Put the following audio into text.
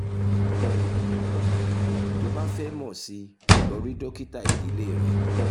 tó o bá fẹ́ mọ̀ sí i lọ rí dókítà ìdílé rẹ